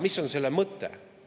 Mis on selle mõte?